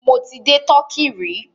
Mọ ti dé Turkey rí.